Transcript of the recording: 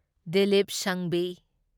Dilip Sanghvi